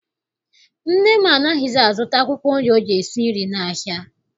Nne m anaghịzi azụta akwụkwọ nri o ji esi nri n'ahịa.